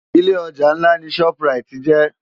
Ilé òjá nlá ni ṣòp ráit jè